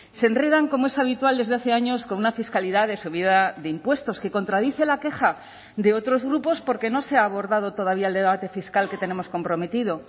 se enredan como es habitual desde hace años con una fiscalidad de subida de impuestos que contradice la queja de otros grupos porque no se ha abordado todavía el debate fiscal que tenemos comprometido